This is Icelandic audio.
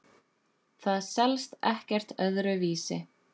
Það selst ekkert öðru vísi.